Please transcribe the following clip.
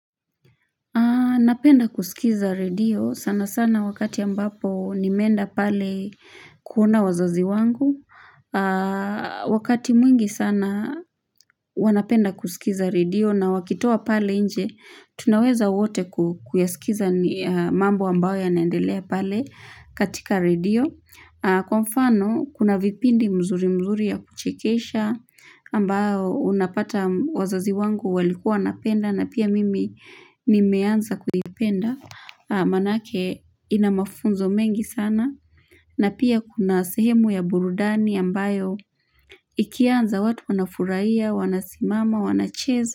Napenda kusikiza redio. Sana sana wakati ambapo nimeenda pale kuona wazazi wangu. Wakati mwingi sana wanapenda kusikiza redio na wakitoa pale nje, tunaweza wote kuyasikiza mambo ambayo yanaendelea pale katika redio. Kwa mfano kuna vipindi mzuri mzuri ya kuchekesha ambayo unapata wazazi wangu walikua wanapenda na pia mimi nimeanza kuipenda maanake ina mafunzo mengi sana na pia kuna sehemu ya burudani ambayo ikianza watu wanafurahia, wanasimama, wanacheza.